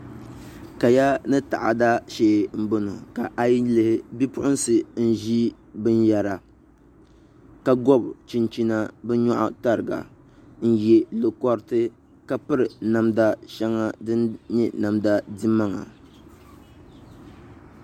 Kaya ni taada shee n bɔŋɔ ka a yi lihi bipuɣunsi n ʒi binyɛra ka gobi chinchina bi nyoɣu tariga n ʒi lo koriti ka piri namda shɛŋa din nyɛ namda dimaŋa